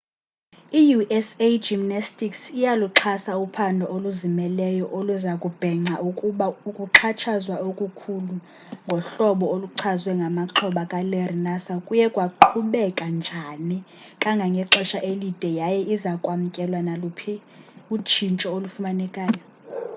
i-usa gymnastics iyaluxhasa uphando oluzimeleyo oluza kubhenca ukuba ukuxhatshazwa okukhulu ngohlobo oluchazwe ngamaxhoba kalarry nassar kuye kwaqhubeka njani kangangexesha elide yaye iza kwamkela naluphi utshintsho olufanelekileyo